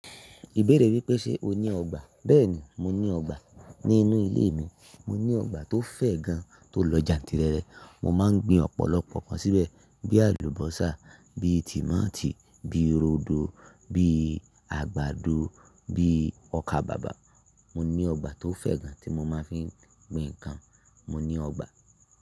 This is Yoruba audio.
Ìbéèrè wípé ṣe o ní ọgbà? Béèni mo ní ọgbà. Nínú ilé mi, mo ní ọgbà tó fẹ̀ gan tó lọ jantirere. Mo máa ń gbin ọ̀pọ̀lọpọ̀ nkan síbẹ̀ bí àlùbọ́sà, bí tímọ́tí, bí rodo, bí àgbàdo, bí ọkàbàbà. Mo ní ọgbà tó fẹ̀ gan tí mo máa ń fi gbin nǹkan. Mo ní ọgbà.